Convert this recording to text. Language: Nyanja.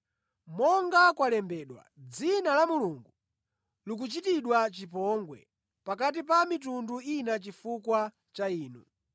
Monga kwalembedwa, “Dzina la Mulungu likuchitidwa chipongwe pakati pa a mitundu ina chifukwa cha inu.”